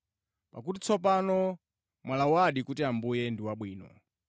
pakuti tsopano mwalawadi kuti Ambuye ndi wabwino.